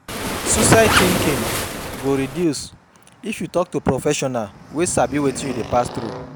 Suicide tinking go reduce if yu tok to professional wey sabi wetin yu dey pass thru